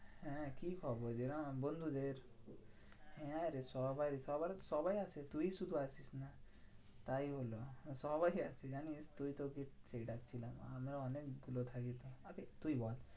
হ্যাঁ কি খবর যে আর বন্ধুদের? হ্যাঁ রে সবাই সবাই সবাই আসে, তুই শুধু আসিস না। তাই হলো সবাই আসে জানিস্? তুইতো আমরা অনেকগুলো থাকি তুই বল।